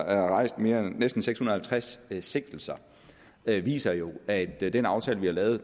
rejst næsten seks hundrede og halvtreds sigtelser det viser jo at den aftale vi har lavet